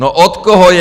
No od koho je?